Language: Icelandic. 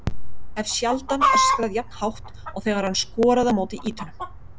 Hef sjaldan öskrað jafn hátt og þegar hann skoraði á móti Ítölum.